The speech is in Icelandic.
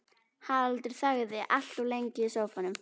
Haraldur þagði allt of lengi í sófanum.